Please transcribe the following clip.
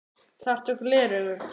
Þarftu gleraugu?